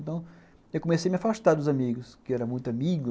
Então, eu comecei a me afastar dos amigos, que eu era muito amigo.